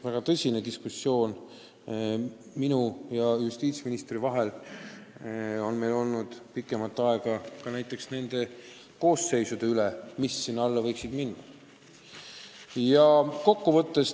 Väga tõsine diskussioon minu ja justiitsministri vahel on pikemat aega käinud nende väärteokoosseisude üle, mis sinna alla võiksid kuuluda.